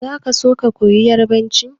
Za ka so ka koyi yarbanci?